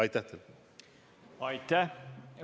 Aitäh!